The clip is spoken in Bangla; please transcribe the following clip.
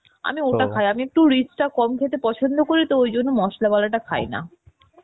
আমি ওটা খাই আমি একটু rich টা কম খেতে পছন্দ করি তো ওই জন্য মশলা ওয়ালা টা খাই না